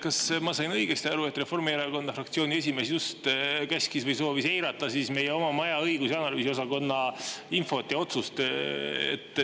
Kas ma sain õigesti aru, et Reformierakonna fraktsiooni esimees just käskis või soovitas eirata meie maja õigus‑ ja analüüsiosakonna infot ja otsust?